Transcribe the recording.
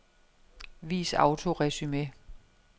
Vis autoresumé.